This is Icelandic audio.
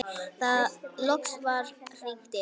Loks var hringt inn.